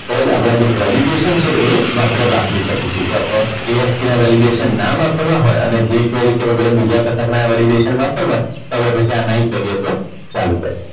તો જ આપણે જે validation છે એ આપણે વાપરી શકીશું આપણે ASP ના validation ના વાપરવા હોય અને જે રીતે બીજા કશાકના validation વાપરવા છે તો આપણે પછી આ નહીં કરીએ તો ચાલશે